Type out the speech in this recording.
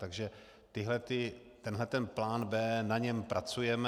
Takže tenhle plán B, na něm pracujeme.